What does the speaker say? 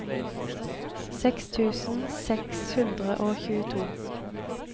seks tusen seks hundre og tjueto